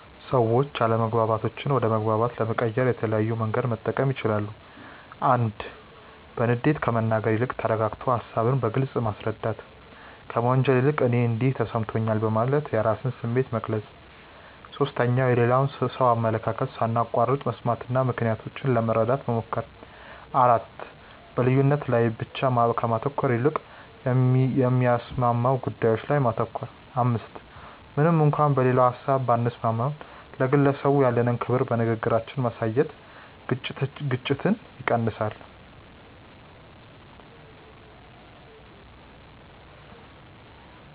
ሰዎች አለመግባባቶችን ወደ መግባባት ለመቀየር የተለያየ መንገድ መጠቀም ይችላሉ፦ 1. በንዴት ከመናገር ይልቅ ተረጋግቶ ሃሳብን በግልጽ ማስረዳት። 2. ከመወንጀል ይልቅ "እኔ እንዲህ ተሰምቶኛል" በማለት የራስን ስሜት መግለጽ። 3. የሌላውን ሰው አመለካከት ሳናቋርጥ መስማትና ምክንያታቸውን ለመረዳት መሞከር። 4. በልዩነት ላይ ብቻ ከማተኮር ይልቅ የሚያስማሙ ጉዳዮች ላይ ማተኮር። 5. ምንም እንኳን በሌላው ሀሳብ ባንስማማም፣ ለግለሰቡ ያለንን ክብር በንግግራችን ማሳየት ግጭትን ይቀንሳል።